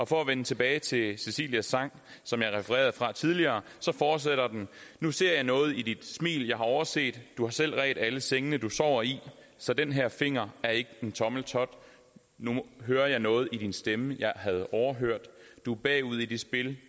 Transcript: for at vende tilbage til cisilias sang som jeg refererede fra tidligere så fortsætter den nu ser jeg noget i dit smil jeg havde overset du har selv redt alle sengene du sover i så den her finger er ik en tommeltot nu hører jeg noget i din stemme jeg havde overhørt du bagud i det spil